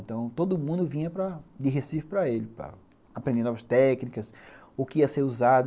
Então, todo mundo vinha de Recife para ele, para aprender novas técnicas, o que ia ser usado.